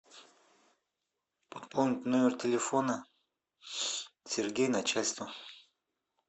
пополнить номер телефона сергей начальство